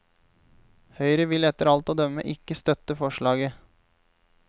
Høyre vil etter alt å dømme ikke støtte forslaget.